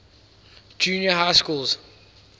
junior high schools